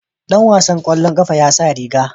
Dan wasan kwallon kafa ya sa riga.